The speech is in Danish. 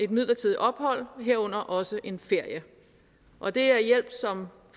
midlertidigt ophold herunder også en ferie og det er hjælp som